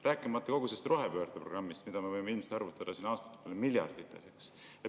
Rääkimata kogu sellest rohepöördeprogrammist, mille kulu me võime ilmselt arvutada siin aastate peale miljardites.